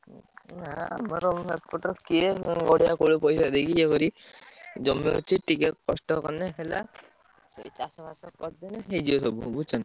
ଆମର ଏପଟେ କିଏ ଏତେ କରିବ ଜମି ଅଛି ଟିକେ କଷ୍ଟ କଲେ ହେଲା ଚାଷ ଫାଶ କରିଦେଲେ ସବୁ ହେଇଯିବ ବୁଝୁଛ ନା।